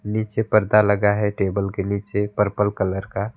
नीचे पर्दा लगा है टेबल के नीचे पर्पल कलर का।